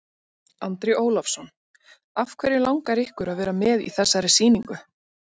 Andri Ólafsson: Af hverju langar ykkur að vera með í þessari sýningu?